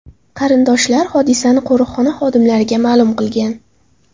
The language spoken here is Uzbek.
Qarindoshlar hodisani qo‘riqxona xodimlariga ma’lum qilgan.